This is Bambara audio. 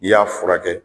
I y'a furakɛ